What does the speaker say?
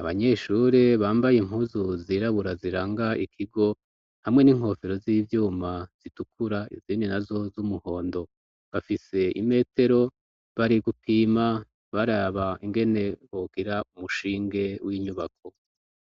abanyeshuri bambaye impuzu zirabura ziranga ikigo hamwe n'inkofero z'ivyuma zitukura izindi nazo z'umuhondo bafise imetero bari gupima baraba ingene bogira umushinge w'inyubako.